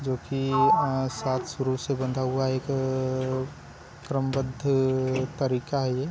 जो कि आज सात सुरों से बंधा हुआ एक क्रमबद्ध तरीका हैं ये--